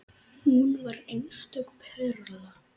Hún var einstök perla.